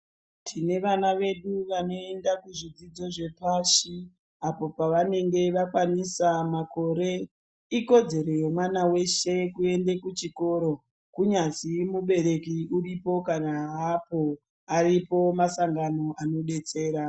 Tine vana vedu vanoenda kuzvidzidzo zvepashi apo pavanenge vakwanisa makore. Ikodzero yemwana weshe kuende kuchikoro kunyazi mubereki uripo kana haapo aripo masangano anodetsera.